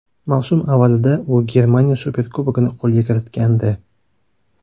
Mavsum avvalida u Germaniya Superkubogini qo‘lga kiritgandi.